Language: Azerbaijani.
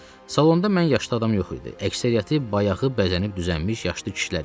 Salonda mən yaşlı adam yox idi, əksəriyyəti bayağı bəzənib düzənmiş yaşlı kişilər idi.